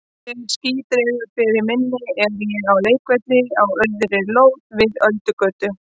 Þegar ský dregur frá minni er ég á leikvelli á auðri lóð við Öldugötu.